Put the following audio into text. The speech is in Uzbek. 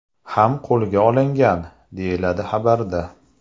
ham qo‘lga olingan”, deyiladi xabarda.